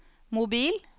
mobil